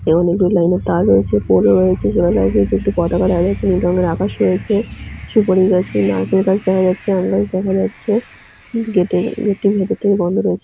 এবং একটি লাইনে তার রয়েছে পোলও রয়েছে সোলার লাইট রয়েছে একটা পতাকা দেখা যাচ্ছে নীল রঙের আকাশ রয়েছে সুপারি গাছ নারকেল গাছ দেখা যাচ্ছে আম গাছ দেখা যাচ্ছে। গেটের গেট -টির ভেতর থেকে বন্দ রয়েছে।